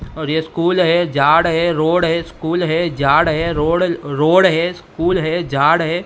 और ये स्कूल है झाड़ है रोड है स्कूल है झाड़ है रोड रोड है स्कूल है झाड़ है।